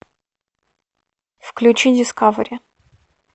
включи дискавери